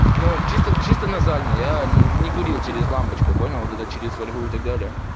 ну чисто чисто назально я не курил через лампочку понял это через фольгу и так далее